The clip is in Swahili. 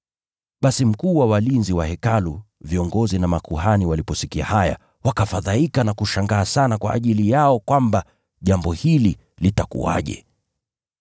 Basi mkuu wa walinzi wa Hekalu na viongozi wa makuhani waliposikia haya, wakafadhaika na kushangaa sana kwa ajili yao kwamba jambo hili litakuwaje.